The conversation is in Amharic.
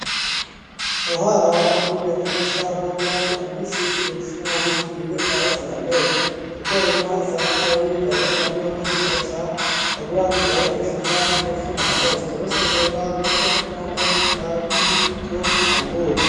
ከኋላዋ በኩል የተነሳ ፎቶ ላይ አንዲት ሴት በኩሽና ውስጥ ምግብ ታበስላለች። ጥቁርና ሰማያዊ ቀለም ያለው ልብስ ለብሳ፣ ፀጉሯን በሽፋን ሸፍናለች። ከበስተጀርባ መስኮትና ነጭ ካቢኔቶች አሉ።